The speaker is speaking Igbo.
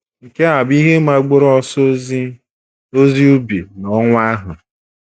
Nke a bụ ihe mgbaru ọsọ ozi ozi ubi n’ọnwa ahụ.